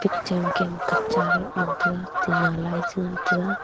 picture ma kem e katcha road ngan taiga tinna lai chengan taiga.